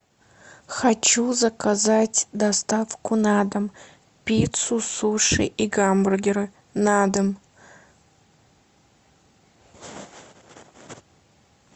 хочу заказать доставку на дом пиццу суши и гамбургеры на дом